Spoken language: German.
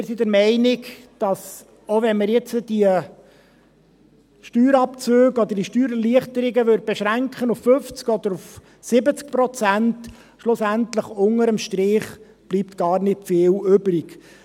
Wir sind der Meinung, dass – selbst wenn wir die Steuerabzüge oder die Steuererleichterungen auf 50 oder 70 Prozent beschränkten – schlussendlich unter dem Strich gar nicht viel übrigbleibt.